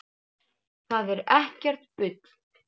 Það er ekkert bull.